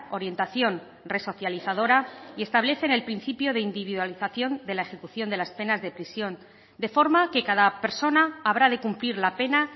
orientación resocializadora y establecen el principio de individualización de la ejecución de las penas de prisión de forma que cada persona habrá de cumplir la pena